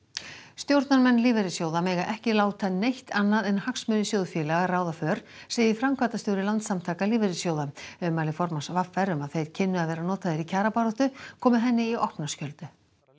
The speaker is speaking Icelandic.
stjórnarmenn lífeyrissjóða mega ekki láta neitt annað en hagsmuni sjóðfélaga ráða för segir framkvæmdastjóri Landssamtaka lífeyrissjóða ummæli formanns v r um að þeir kynnu að vera notaðir í kjarabáttu komu henni í opna skjöldu